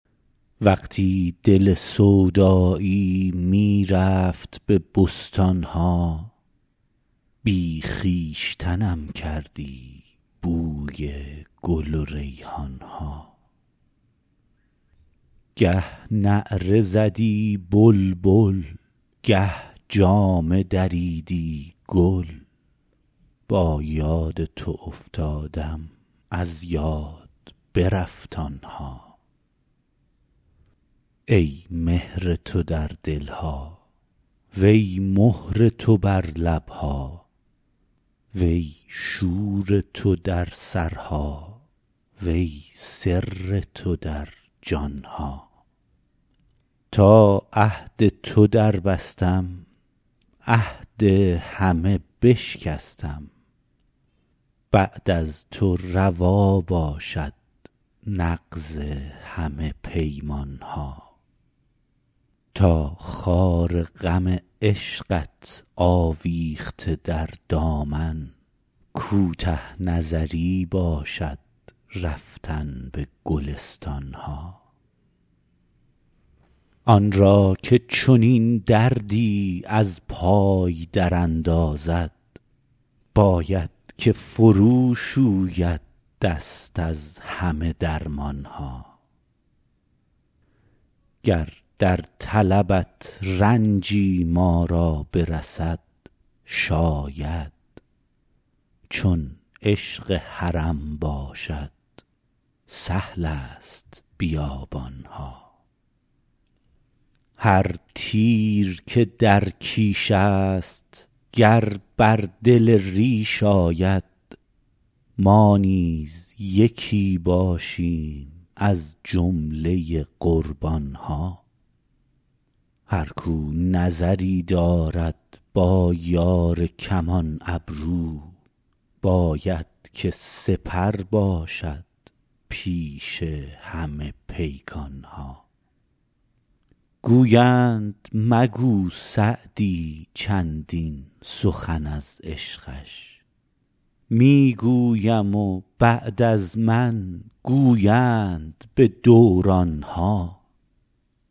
وقتی دل سودایی می رفت به بستان ها بی خویشتنم کردی بوی گل و ریحان ها گه نعره زدی بلبل گه جامه دریدی گل با یاد تو افتادم از یاد برفت آن ها ای مهر تو در دل ها وی مهر تو بر لب ها وی شور تو در سرها وی سر تو در جان ها تا عهد تو دربستم عهد همه بشکستم بعد از تو روا باشد نقض همه پیمان ها تا خار غم عشقت آویخته در دامن کوته نظری باشد رفتن به گلستان ها آن را که چنین دردی از پای دراندازد باید که فروشوید دست از همه درمان ها گر در طلبت رنجی ما را برسد شاید چون عشق حرم باشد سهل است بیابان ها هر تیر که در کیش است گر بر دل ریش آید ما نیز یکی باشیم از جمله قربان ها هر کاو نظری دارد با یار کمان ابرو باید که سپر باشد پیش همه پیکان ها گویند مگو سعدی چندین سخن از عشقش می گویم و بعد از من گویند به دوران ها